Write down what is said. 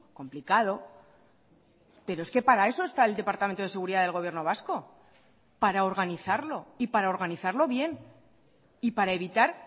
complicado pero es que para eso está el departamento de seguridad del gobierno vasco para organizarlo y para organizarlo bien y para evitar